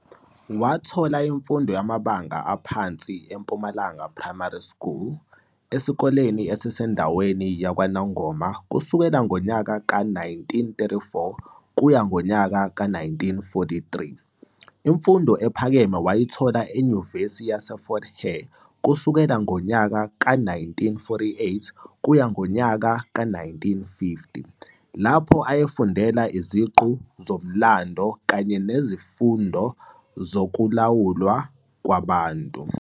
Wathola imfundo yamabanga aphansi e-"Impumalanga Primary School" isikole esisendaweni yakwaNongoma kusukela ngonyaka we-1934 kuya kwe-1943. Imfundo ephakeme wayithola eNyuvesi Yase Fort hare kusukela ngonyaka we-1948 kuya kwe-1950, lapho ayefundela iziqu zoMlando kanye nzifundo zokuLawulwa kwaBantu.